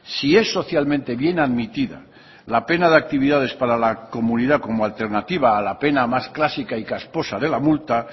si es socialmente bien admitida la pena de actividades para la comunidad como alternativa a la pena más clásica y casposa de la multa